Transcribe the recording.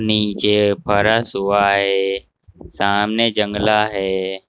नीचे फरश हुआ है सामने जंगला है।